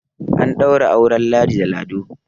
an ɗaura auren ladi da lado